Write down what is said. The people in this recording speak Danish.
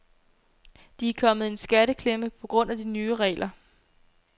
De er kommet i en skatteklemme på grund af de nye regler.